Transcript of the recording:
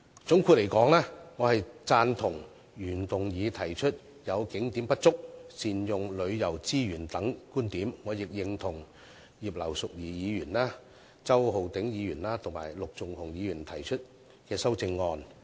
總括而言，我贊同原議案中有關景點不足和善用旅遊資源等觀點，亦認同葉劉淑儀議員、周浩鼎議員及陸頌雄議員提出的修正案。